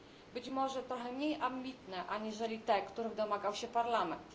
Być może trochę mniej ambitne aniżeli te, których domagał się Parlament.